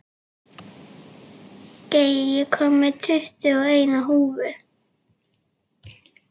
Geir, ég kom með tuttugu og eina húfur!